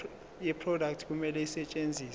yeproduct kumele isetshenziswe